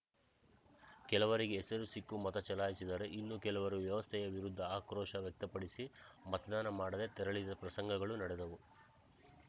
ಕೆಲವರಿಗೆ ಹೆಸರು ಸಿಕ್ಕು ಮತ ಚಲಾಯಿಸಿದರೆ ಇನ್ನು ಕೆಲವರು ವ್ಯವಸ್ಥೆಯ ವಿರುದ್ಧ ಆಕ್ರೋಶ ವ್ಯಕ್ತಪಡಿಸಿ ಮತದಾನ ಮಾಡದೆ ತೆರಳಿದ ಪ್ರಸಂಗಗಳೂ ನಡೆದವು